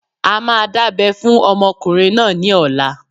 A máa dábẹ́ fún ọmọkùnrin náà ní ọ̀la.